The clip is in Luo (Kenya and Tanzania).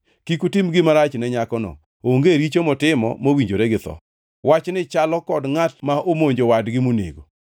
Kik utim gima rach ne nyakono, onge richo motimo mowinjore gi tho. Wachni chalo kod ngʼat ma omonjo wadgi monego,